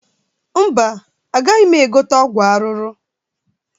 Mba, agaghị m egote ọgwụ ahụhụ.